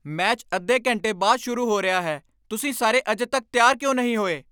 Match ਅੱਧੇ ਘੰਟੇ ਬਾਅਦ ਸ਼ੁਰੂ ਹੋ ਰਿਹਾ ਹੈ। ਤੁਸੀਂ ਸਾਰੇ ਅਜੇ ਤੱਕ ਤਿਆਰ ਕਿਉਂ ਨਹੀਂ ਹੋਏ?